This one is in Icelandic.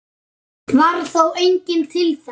Varð þá enginn til þess.